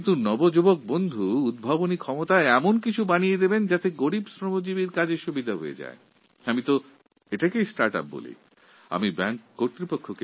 কোনও যুবাবন্ধু যদি এমন কিছু প্রযুক্তি উদ্ভাবন করেন যার মাধ্যমে তাদের পরিশ্রম কিছুটা লাঘব হয় সেটাকেও আমরা স্টার্ট ইউপি হিসাবে গণ্য করি